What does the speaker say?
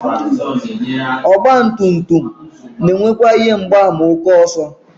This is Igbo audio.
Ọgbatumtum na-enwekwa ihe mgbaàmà ókè ọsọ